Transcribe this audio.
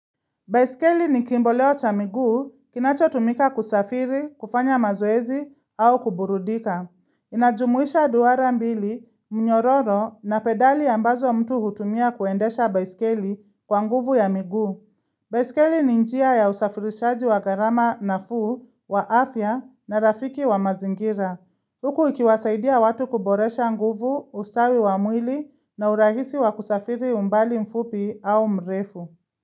Baiskeli ni kimboleo cha miguu, kinacho tumika kusafiri, kufanya mazoezi au kuburudika. Inajumuisha dwara mbili, mnyororo na pedali ambazo mtu hutumia kuendesha baiskeli kwa nguvu ya miguu. Baiskeli ni njia ya usafirishaji wa gharama na fuu, wa afya na rafiki wa mazingira. Huku ikiwasaidia watu kuboresha nguvu, ustawi wa mwili na urahisi wa kusafiri umbali mfupi au mrefu.